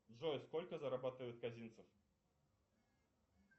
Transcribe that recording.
джой сколько зарабатывает казинцев